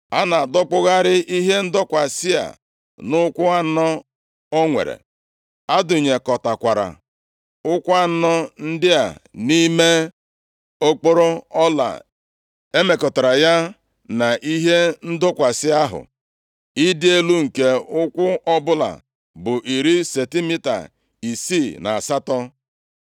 A na-adọkpụgharị ihe ndọkwasị a nʼụkwụ anọ o nwere. A dụnyekọtakwara ụkwụ anọ ndị a nʼime okporo ọla e mekọtara ya na ihe ndọkwasị ahụ. Ịdị elu nke ụkwụ ọbụla bụ iri sentimita isii na asatọ.